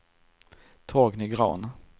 Torgny Grahn